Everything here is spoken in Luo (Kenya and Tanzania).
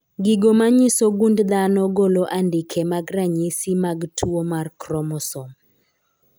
Gigo manyiso gund dhano golo andike mag ranyisi mag tuo mar kromosom.